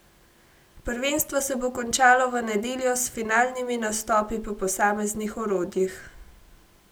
Prvenstvo se bo končalo v nedeljo s finalnimi nastopi po posameznih orodjih.